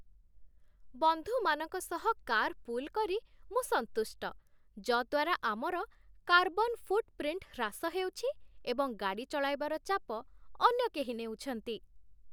ବନ୍ଧୁମାନଙ୍କ ସହ କାର୍‌ପୁଲ୍ କରି ମୁଁ ସନ୍ତୁଷ୍ଟ, ଯଦ୍ୱାରା ଆମର କାର୍ବନ୍ ଫୁଟ୍‌ପ୍ରିଣ୍ଟ୍ ହ୍ରାସ ହେଉଛି ଏବଂ ଗାଡ଼ି ଚଳାଇବାର ଚାପ ଅନ୍ୟ କେହି ନେଉଛନ୍ତି।